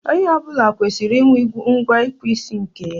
Onye ọ bụla kwesịrị inwe ngwa ịkpụ isi nke ya.